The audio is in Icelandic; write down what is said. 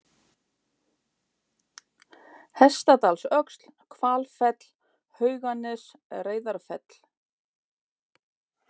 Hestadalsöxl, Hvalfell, Hauganes, Reyðarfell